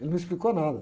Ele não explicou nada.